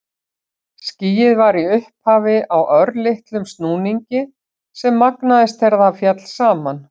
Skýið var í upphafi á örlitlum snúningi sem magnaðist þegar það féll saman.